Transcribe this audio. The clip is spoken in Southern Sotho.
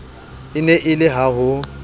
ne e le la ho